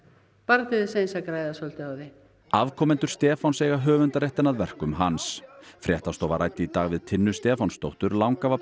bara til þess að græða á því afkomendur Stefáns eiga höfundarréttinn að verkum hans fréttastofa ræddi í dag við Tinnu Stefánsdóttur